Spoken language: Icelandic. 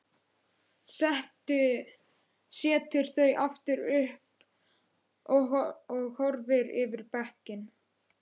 Setur þau upp aftur og horfir yfir bekkinn.